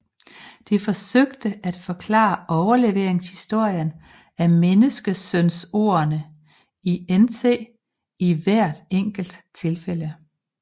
De forsøgte at forklare overleveringshistorien af menneskesønordene i NT i hvert enkelt tilfælde